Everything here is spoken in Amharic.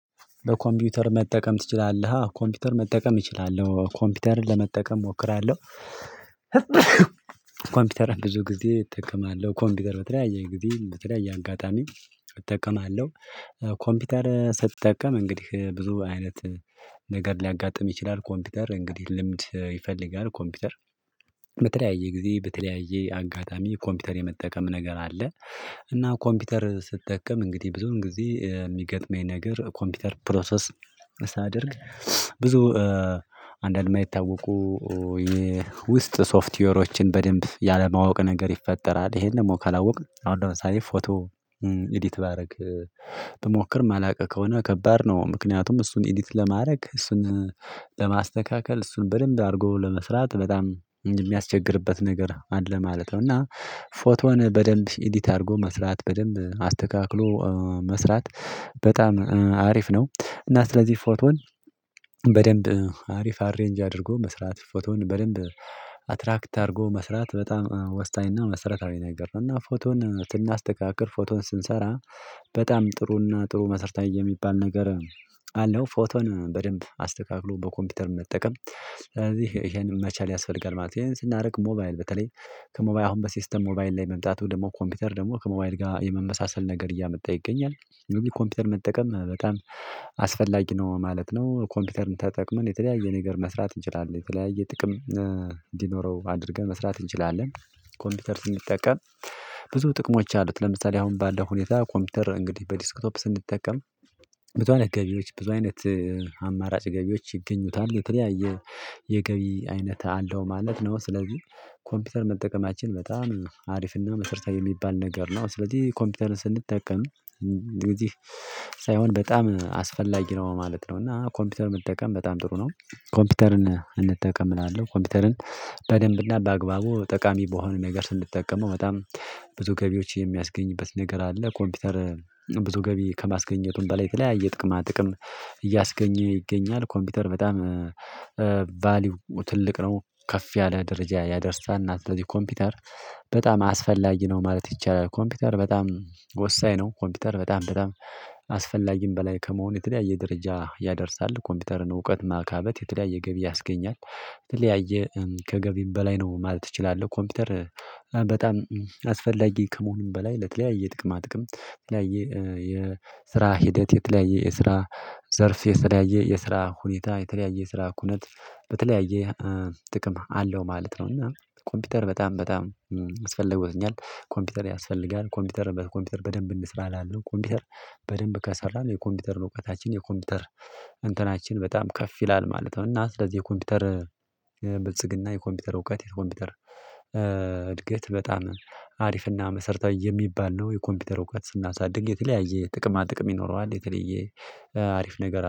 በኮምፒውተር መጠቀም ትችላለህ ኮምፒውተር መጠቀም እችላለሁ ኮምፒውተርን ለመጠቀም እሞክራለሁ። ኮምፒውተር ብዙ ጊዜ እጠቀማለሁ ኮምፒውተር በተለያየ ጊዜ በተለያየ አጋጣሚ እጠቀማለሁ። ኮምፒውተር ስትጠቀም እንግዲህ ብዙ አይነት ነገር ሊያጋጥም ይችላል። ኮምፒውተር እንግዲህ ልምድ ይፈልጋል ኮምፒውተር በተለያየ ጊዜ በተለያየ አጋጣሚ ኮምፒውተር የመጠቀም ነገር አለ። እና ኮምፒውተር ስትጠቀም እንግዲህ ብዙን ጊዜ የሚገጥመኝ ነገር ኮምፒውተር ፕሮሰስ ሳደርግ ብዙ አንድ አድማ የታወቁ የውስጥ ሶፍትዌሮችን በደንብ ያለማወቅ ነገር ይፈጠራል። ይሄን ደግሞ ካላወቅን አሁን ለምሳሌ ፎቶ ኤዲት ባደርግ ብሞክር ማላውቅ ከሆነ ከባድ ነው። ምክንያቱም እሱን ኢዲት ለማድረግ እሱን ለማስተካከል እሱን በደንብ አድርጎ ለመስራት በጣም የሚያስቸግርበት ነገር አለ ማለት ነው። እና ፎቶን በደንብ ኢዲት አድርጎ መስራት በደንብ አስተካክሎ መስራት በጣም አሪፍ ነው። እና ስለዚህ ፎቶን በደንብ ሀሪፍ አሬንጅ አድርጎ መስራት ፎቶን በደንብ አትራክት አድርጎ መስራት በጣም ወስኝና መሰረታዊ ነገር ነው። እና ፎቶን ስናስተካክል ፎቶን ስንሰራ በጣም ጥሩና ጥሩ መሰረታዊ የሚባል ነገር አለው። ፎቶን በደንብ አስተካክሎ በኮምፒውተር መጠቀም ስለዚህ ይሄንን መቻል ያስፈልጋል ማለት ነው። ይሄን ስናደርግ ሞባይል በተለይ ከሞባይል አሁን በሲስተም ሞባይል ላይ መምጣቱ ደግሞ ኮምፒውተር ደግሞ ከሞባይል ጋር የመመሳሰል ነገር እያመጣ ይገኛል። ኮምፒውተር መጠቀም በጣም አስፈላጊ ነው ማለት ነው። ኮምፒውተርን ተጠቅመን የተለያየ ነገር መስራት እንችላለን የተለያየ ጥቅም እንዲኖረው አድርገን መስራት እንችላለን። ኮምፒውተር ስንጠቀም ብዙ ጥቅሞች አሉት ለምሳሌ አሁን ባለው ሁኔታ ኮምፒውተር እንግዲህ በዲስክቶፕ ስንጠቀም ብዙ አይነት ገቢዎች ብዙ አይነት አማራጭ ገቢዎች ይገኙታል የተለያየ የገቢ አይነት አለው። ማለት ነው። ስለዚህ ኮምፒውተር መጠቀማችን በጣም ሀሪፍና መሰረታዊ የሚባል ነገር ነው። ስለዚህ ኮምፒውተርን ስንጠቀም እንግዲህ ሳይሆን በጣም አስፈላጊ ነው ማለት ነው። እና ኮምፒውተር የምንጠቀም በጣም ጥሩ ነው። ኮምፒውተርን እንጠቀም እላለሁ። ኮምፒውተርን በደንብና በአግባቡ ጠቃሚ በሆነ ነገር ስንጠቀመው በጣም ብዙ ገቢዎች የሚያስገኝበት ነገር አለ። ኮምፒውተር ብዙ ገቢ ከማስገኘቱም በላይ የተለያየ ጥቅማ ጥቅም እያስገኘ ይገኛል። ኮምፒውተር በጣም ቫልዩ ትልቅ ነው ከፍ ያለ ደረጃ ያደርሳል። እና ስለዚህ ኮምፒውተር በጣም አስፈላጊ ነው ማለት ይቻላል። ኮምፒውተር በጣም ወሳኝ ነው። ኮምፒውተር በጣም በጣም አስፈላጊም በላይ ከመሆኑ የተለያየ ደረጃ ያደርሳል። ኮምፒውተርን እውቀት ማካበት የተለያየ ገቢ ያስገኛል። የተለያየ ከገቢም በላይ ነው ማለት ትችላለህ። ኮምፒውተር በጣም አስፈላጊ ከመሆኑም በላይ ለተለያየ የጥቅማ ጥቅም ላይ የስራ ሂደት የተለያየ የስራ ዘርፍ የተለያየ የስራ ሁኔታ የተለያየ የስራ ኩነት በተለያየ ጥቅም አለው ማለት ነው። እና ኮምፒውተር በጣም በጣም ያስፈልጎትኛል። ኮምፒውተር ያስፈልጋል ኮምፒውተር በኮምፒውተር በደንብ እንስራ እላለሁ። ኮምፒውተር በደንብ ከሰራን የኮምፒውተርን እውቀታችን የኮምፒውተር እንትናችን በጣም ከፍ ይላል ማለት ነው። እና ስለዚህ የኮምፒውተር ብልጽግና የኮምፒውተር እውቀት የኮምፒውተር እድገት በጣም ሀሪፍና መሰረታዊ የሚባል ነው። የኮምፒውተር እውቀት ስናሳድግ የተለያየ ጥቅማ ጥቅም ይኖረዋል። የተለየ ሀሪፍ ነገር